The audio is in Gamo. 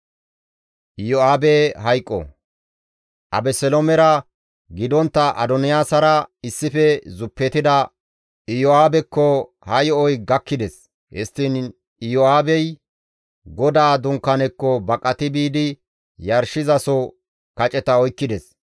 Abeseloomera gidontta Adoniyaasara issife zuppetida Iyo7aabekko ha yo7oy gakkides; histtiin Iyo7aabey GODAA Dunkaanekko baqati biidi yarshizaso kaceta oykkides.